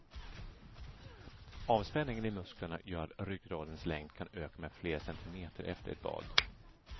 Avspänningen i musklerna gör att ryggradens längd kan öka med flera centimeter efter ett bad.